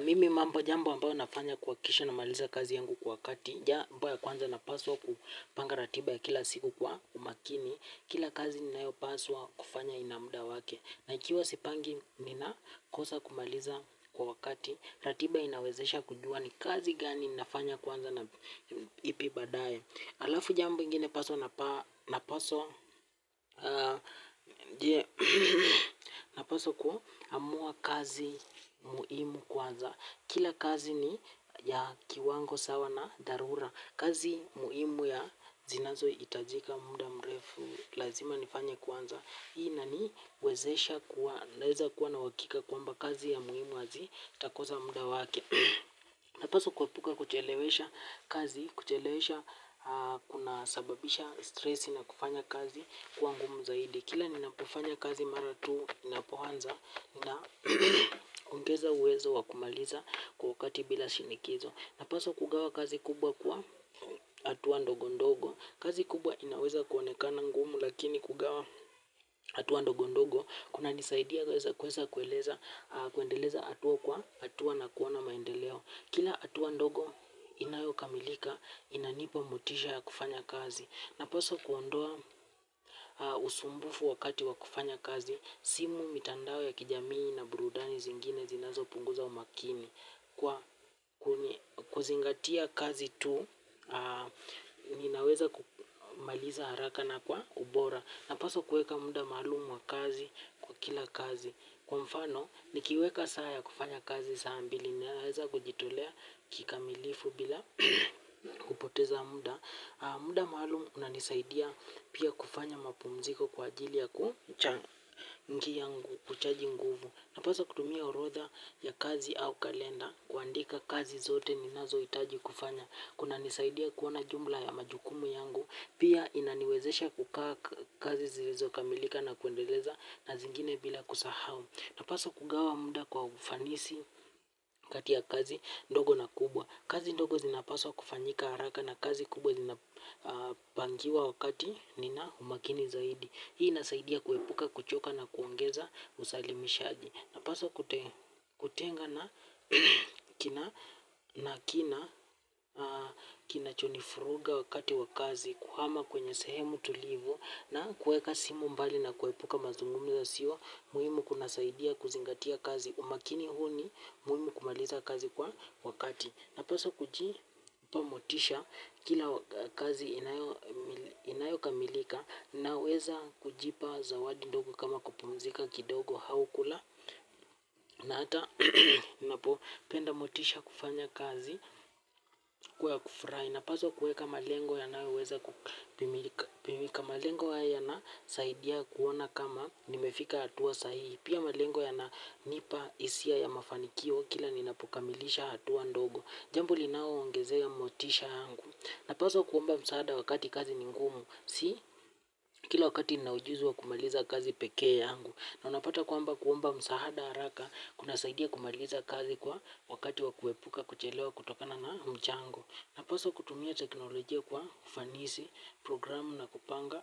Mimi jambo ambalo nafanya kuhakikisha namaliza kazi yangu kwa wakati. Jambo ya kwanza napaswa kupanga ratiba yangu kwa umakini. Kila kazi ni ninayopaswa kufanya ina muda wake. Na ikiwa sipangi ninakosa kumaliza kwa wakati. Ratiba inawezesha kujua ni kazi gani nafanya kwanza na ipi badaye. Alafu jambo ingine napaswa kuamua kazi muhimu kwanza. Kila kazi ni ya kiwango sawa na dharura. Kazi muhimu ya zinazohitajika muda mrefu lazima nifanya kwanza. Hii inaniwezesha kuwa naweza kuwa na uhakika kwamba kazi ya muhimu itakosa muda wake. Napaswa kuepuka kuchelewesha kazi, kuchelewesha kuna sababisha stressi na kufanya kazi kuwa ngumu zaidi. Kila ninapofanya kazi mara tu inapoanza na ongeza uwezo wakumaliza kwa wakati bila shinikizo. Napaswa kugawa kazi kubwa kwa hatua ndogo ndogo. Kazi kubwa inaweza kuonekana ngumu lakini kugawa hatua ndogo ndogo kunanisaidia kuweza kuendeleza hatua kwa hatua na kuona maendeleo. Kila hatua ndogo inayokamilika inanipa mutisha ya kufanya kazi. Napaswa kuondoa usumbufu wakati wa kufanya kazi, simu, mitandao ya kijamii na burudani zingine zinazopunguza umakini. Kwa kuzingatia kazi tu, ninaweza kumaliza haraka na kwa ubora. Napaswa kueka muda malumu wa kazi kwa kila kazi. Kwa mfano, nikiweka saa ya kufanya kazi saambili, ninaweza kujitolea kikamilifu bila kupoteza muda. Muda maalumu unanisaidia pia kufanya mapumziko kwa ajili ya kuchangia kuchaji nguvu. Napaswa kutumia orodha ya kazi au kalenda kuandika kazi zote ninazo itaji kufanya. Kunanisaidia kuona jumla ya majukumu yangu. Pia inaniwezesha kukaa kazi zilizokamilika na kuendeleza na zingine bila kusahau. Napaswa kugawa muda kwa ufanisi kati ya kazi ndogo na kubwa. Kazi ndogo zinapaswa kufanyika haraka na kazi kubwa zinapangiwa wakati nina umakini zaidi. Hii inasaidia kuepuka kuchoka na kuongeza usalimishaji. Napaswa kutenga na kinachonifuruga wakati wa kazi kuhama kwenye sehemu tulivu na kueka simu mbali na kuepuka mazungumzo yasiyo muhimu kunasaidia kuzingatia kazi umakini huu ni muhimu kumaliza kazi kwa wakati. Napaswa kujipa motisha kila kazi inayokamilika naweza kujipa zawadi ndogo kama kupumzika kidogo au kula na hata napopenda motisha kufanya kazi kwa kufrai. Napaswa kueka malengo yanayoweza kupimika malengo haya yanasaidia kuona kama nimefika hatuwa sahihi. Pia malengo yananipa hisia ya mafanikio kila ninapokamilisha hatua ndogo. Jambo linaongezea motisha angu. Napaswa kuomba msaada wakati kazi ni ngumu. Si, kila wakati nina ujuzi wa kumaliza kazi pekee angu. Na unapata kwamba kuomba msaada haraka kunasaidia kumaliza kazi kwa wakati wa kuepuka kuchelewa kutokana na mchango. Napaswa kutumia teknolojia kwa kufanisi, programu na kupanga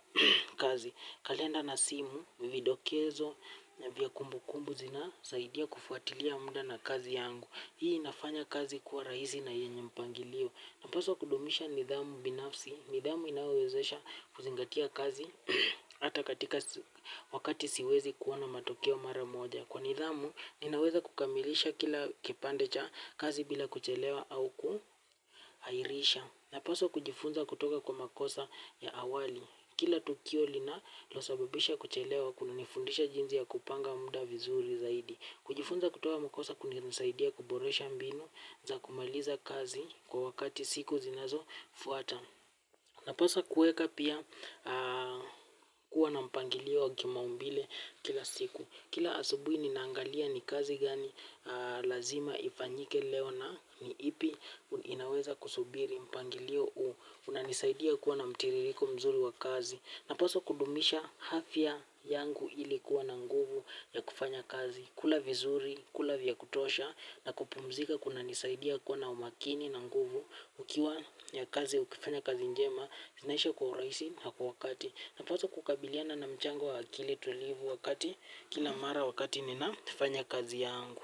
kazi. Kalenda na simu, vindokezo, nyabia kumbu kumbu zina saidia kufuatilia muda na kazi angu. Hii inafanya kazi kuwa rahisi na yenye mpangilio. Napaswa kudumisha nidhamu binafsi. Nidhamu inawezesha kuzingatia kazi. Ata katika wakati siwezi kuwa na matokeo mara moja. Kwa nidhamu ninaweza kukamilisha kila kipande cha kazi bila kuchelewa au kuhairisha. Napaswa kujifunza kutoka kwa makosa ya awali. Kila tukio linalosabibisha kuchelewa kunanifundisha jinsi ya kupanga muda vizuri zaidi. Kujifunza kutoa makosa kunisaidia kuboresha mbinu za kumaliza kazi kwa wakati siku zinazofuata. Napaswa kueka pia kuwa na mpangilio wa kimaumbile kila siku. Kila asubui ninaangalia ni kazi gani lazima ifanyike leo na ni ipi inaweza kusubiri mpangilio huu. Unanisaidia kuwa na mtiririko mzuri wa kazi. Napaswa kudumisha afya yangu ili kuwa na nguvu ya kufanya kazi. Kula vizuri, kula vya kutosha na kupumzika kunanisaidia kuwa na umakini na nguvu. Ikiwa ya kazi, ukifanya kazi njema, zinaisha kwa uraisi na kwa wakati. Napaswa kukabiliana na mchango wa akili tulivu wakati, kila mara wakati ninafanya kazi yangu.